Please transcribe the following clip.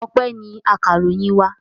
Ọpẹ́ ni akaròyìn wa.